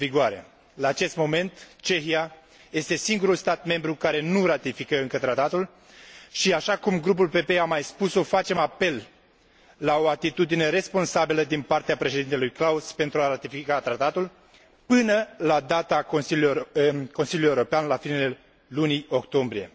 La acest moment, Cehia este singurul stat membru care nu ratifică încă Tratatul și, așa cum Grupul PPE a mai spus o, facem apel la o atitudine responsabilă din partea președintelui Klaus pentru a ratifica Tratatul până la data Consiliului European de la finele lunii octombrie.